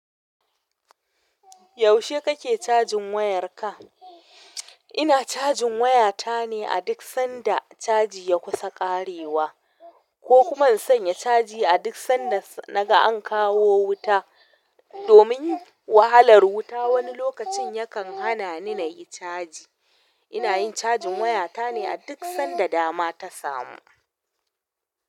Yaushe kake cajin wayar ka? Ina cajin waya ta ne a duk sanda caji ya kusa ƙarewa. Ko kuma in sanya caji a duk sanda naga an kawo wuta. Domin wahalar wuta wani lokacin yakan hana ni na yi caji. Ina yin cajin waya ta ne a duk sanda dama ta samu.